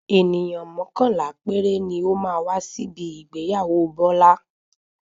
Ènìyàn mọ́kànlá péré ni ó máa wá síbi ìgbéyàwó Bọ́lá.